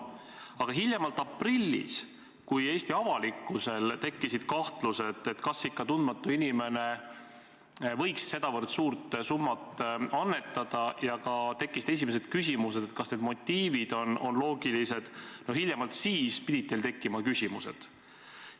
Aga hiljemalt aprillis, kui Eesti avalikkusel tekkisid kahtlused, kas tundmatu inimene ikka võiks sedavõrd suurt summat annetada, ja tekkisid ka esimesed küsimused, et kas need motiivid on loogilised, no siis pidid teil tekkima küsimused.